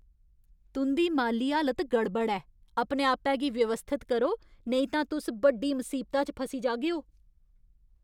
तुं'दी माली हालत गड़बड़ ऐ! अपने आपै गी व्यवस्थत करो नेईं तां तुस बड्डी मसीबता च फसी जाह्गेओ।